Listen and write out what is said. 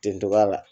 Tentɔ a la